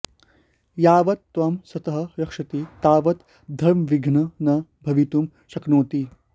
यावत् त्वं सतः रक्षति तावत् धर्मविघ्नः न भवितुं शक्नोति